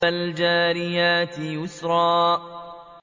فَالْجَارِيَاتِ يُسْرًا